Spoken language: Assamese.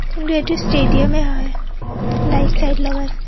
কিন্তু এইটো ষ্টেডিয়াম এই হয় লাইট -চাইট লগাইছে।